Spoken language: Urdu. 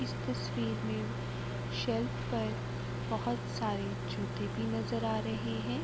اس تشویر مے شیلف پر بھوت بہت سارے جوتے بھی نظر آ رہے ہے۔